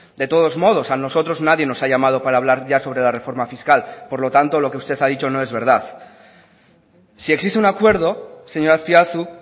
de todos modos a nosotros nadie nos ha llamado para hablar ya sobre la reforma fiscal por lo tanto lo que usted ha dicho no es verdad si existe una acuerdo señor azpiazu